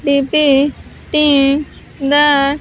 depi cting the--